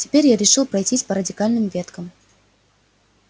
теперь я решил пройтись по радикальным веткам